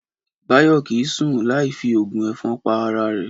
Báyò kì í sùn láì fi ògùn èfon pa ara rè